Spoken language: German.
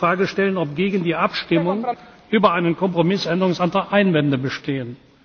h. er muss die Frage stellen, ob gegen die Abstimmung über einen Kompromissänderungsantrag Einwände bestehen.